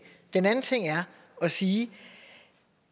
den anden ting er at sige